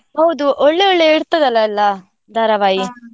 ಹೌದು ಒಳ್ಳೆ ಒಳ್ಳೆ ಇರ್ತದಲ್ಲ ಎಲ್ಲಾ ಧಾರಾವಾಹಿ?